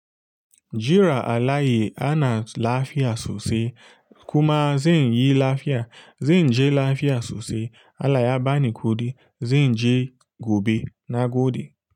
Jira alayi ana lafiya sosai. Kuma zan yi lafiya, zan je lafiya sosai. Alayabani kuɗi, zen je gobe na gode.